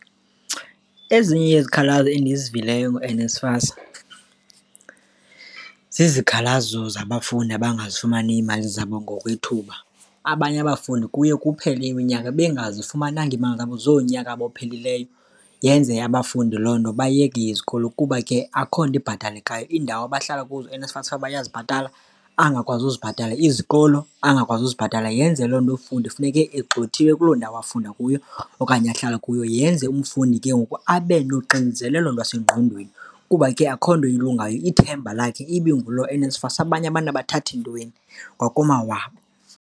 Ezinye yezikhalazo endizivileyo ngoNSFAS zizikhalazo zabafundi abangazifumaniyo iimali zabo ngokwethuba. Abanye abafundi kuye kuphele iminyaka bengazifumananga iimali zabo zoonyaka abophelileyo, yenze abafundi loo nto bayeke izikolo kuba ke akukho nto ibhatalekayo. Iindawo abahlala kuzo uNSFAS ufanuba uyazibhatala, angakwazi uzibhatala, izikolo angakwazi uzibhatala, yenze loo nto umfundi kufuneke egxothiwe kuloo ndawo afunda kuyo okanye ahlala kuyo. Yenze umfundi ke ngoku abe nonxinzelelo lwasengqondweni kuba ke akukho nto ilungayo, ithemba lakhe ibinguloo NSFAS, abanye abantu abathathi ntweni kwakomawabo.